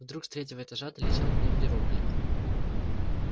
вдруг с третьего этажа долетел гневный вопль